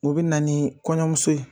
U bina ni kɔɲɔmuso ye.